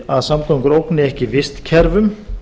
að samgöngur ógni ekki vistkerfum